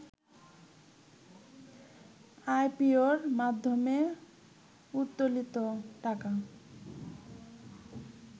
আইপিওর মাধ্যমে উত্তোলিত টাকা